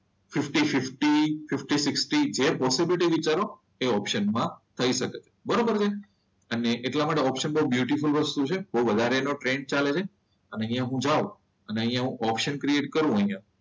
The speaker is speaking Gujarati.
ફિફ્ટી ફિફ્ટી, ફિફ્ટી સીકસીટી જે વિચારો એ એ ઓપ્શન માં કહી શકાય. બરોબર છે? એટલા માટે ઓપ્શનમાં બ્યુટીફૂલ વસ્તુ છે બહુ વધારે એનો ટ્રેન્ડ ચાલે છે અને અહીંયા હું જાવ અને અહીંયા હું ઓપ્શન ક્રેડિટ કરું અહીંયા,